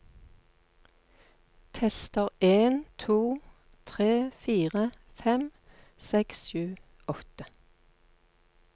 Tester en to tre fire fem seks sju åtte